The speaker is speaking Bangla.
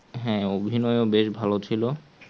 হ্যাঁ অভিনয় ও বেশ ভালো ছিল